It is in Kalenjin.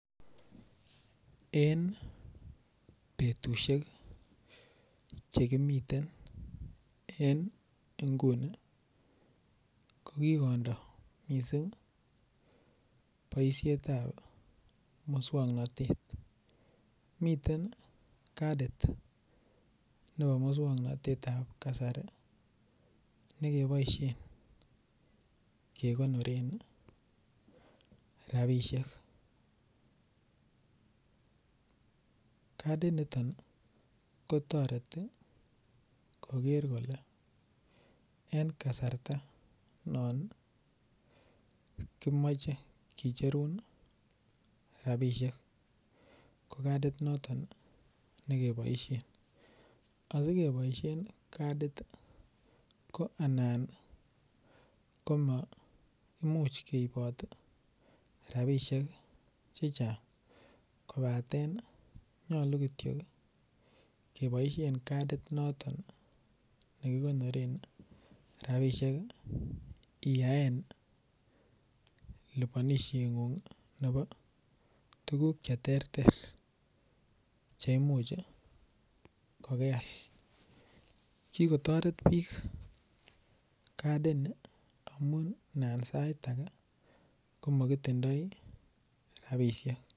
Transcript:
En betusiek Che kimiten en nguni ko ki kondo mising boisiet ab moswoknatet miten kadit nebo moswoknatetab kasari ne keboisien kegonoren rabisiek kadiniton kotoreti koger kole en kasarta non kimoche kicherun rabisiek ko kadiniton ne keboisien asi keboisien kadit ko anan maimuch keibot rabisiek Che Chang kobaten nyolu Kityo keboisien kadit noton ne kigonoren rabisiek iyaen liponishengung nebo tuguk Che terter ko keal ki kotoret bik kadini amun anan sait age ko Ma kitindoi rabisiek